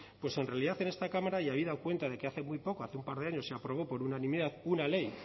en realidad en esta cámara y habida cuenta de que hace muy poco hace un par de años se aprobó por unanimidad una ley